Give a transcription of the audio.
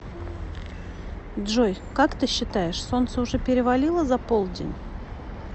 джой как ты считаешь солнце уже перевалило за полдень